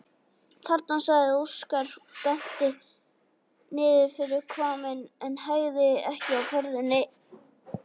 Þarna, sagði Óskar og benti niður fyrir hvamminn en hægði ekki á ferðinni.